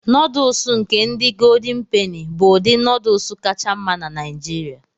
Nọdụụsụ nke ndị goldin peni bụ ụdị nọdụụsụ kacha mma na Nigeria.